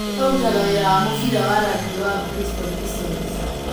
Rĩu arutaga wĩra wa mũbira wa rugby wa Bristol Bisons.